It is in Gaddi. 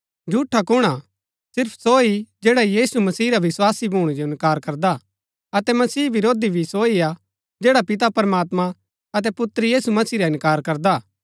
झूठा कुण हा सिर्फ सो ही जैडा यीशु मसीह रा विस्वासी भूणै जो इन्कार करदा अतै मसीह विरोधी भी सो ही हा जैडा पिता प्रमात्मां अतै पुत्र यीशु मसीह रा इन्कार करदा